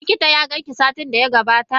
Likita ya ganki satin da ya gabata?